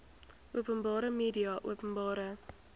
openbare media openbare